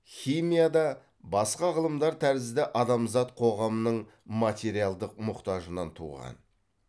химия да басқа ғылымдар тәрізді адамзат қоғамының материалдық мұқтажынан туған